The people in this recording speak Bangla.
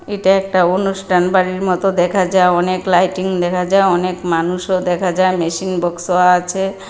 এটা একটা অনুষ্ঠান বাড়ির মতো দেখা যায় অনেক লাইটিং লেখা যায় অনেক মানুষও দেখা যায় মেশিন বক্সও আছে।